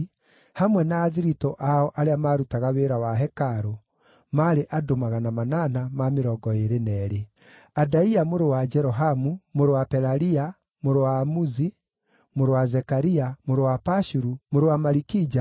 hamwe na athiritũ ao arĩa maarutaga wĩra wa hekarũ, maarĩ andũ 822; Adaia mũrũ wa Jerohamu, mũrũ wa Pelalia, mũrũ wa Amuzi, mũrũ wa Zekaria, mũrũ wa Pashuru, mũrũ wa Malikija,